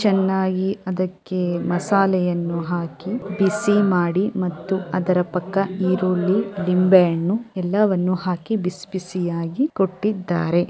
ಚೆನ್ನಾಗಿ ಅದಕ್ಕೆ ಮಸಾಲೆಯನ್ನು ಹಾಕಿ ಬಿಸಿ ಮಾಡಿ ಅದರ ಪಕ್ಕ ಈರುಳ್ಳಿ ನಿಂಬೆಹಣ್ಣು ಎಲ್ಲ ಹಾಕಿ ಬಿಸಿ ಬಿಸಿ ಯಾಗಿ ಕೊಟ್ಟಿದ್ದಾರೆ .